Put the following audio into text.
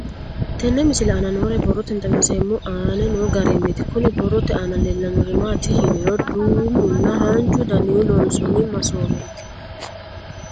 Tenne misile aana noore borroteni xawiseemohu aane noo gariniiti. Kunni borrote aana leelanori maati yiniro duumunna haanju daninni loonsonni maasoweeti.